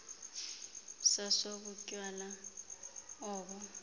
saso butywala obo